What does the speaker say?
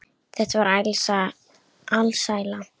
Þetta var alsæla.